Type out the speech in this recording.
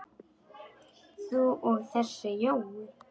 þú og þessi Jói?